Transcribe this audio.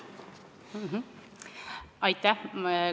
Aitäh!